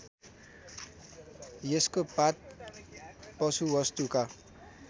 यसको पात पशुवस्तुका